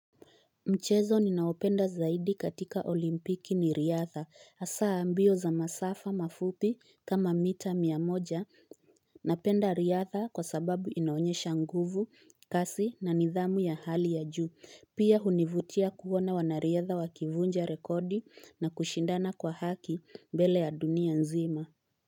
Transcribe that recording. Mchezo ninaopenda zaidi katika olimpiki ni riadha hasaa mbio za masafa mafupi kama mita miamoja napenda riadha kwa sababu inaonyesha nguvu kasi na nidhamu ya hali ya juu pia hunivutia kuona wanariadha wakivunja rekodi na kushindana kwa haki mbele ya dunia nzima.